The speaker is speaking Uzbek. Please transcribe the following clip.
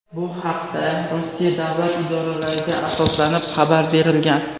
Bu haqda Rossiya davlat idoralariga asoslanib xabar berilgan.